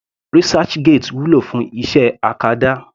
Researchgate wúlò fún iṣẹ́ acadá.